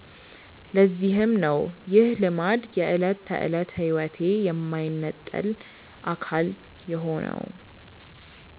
ለዚህም ነው ይህ ልማድ የዕለት ተዕለት ሕይወቴ የማይነጠል አካል የሆነው።